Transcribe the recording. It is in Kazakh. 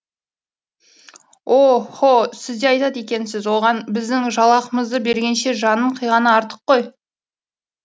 о һо сіз де айтады екенсіз оған біздің жалақымызды бергенше жанын қиғаны артық қой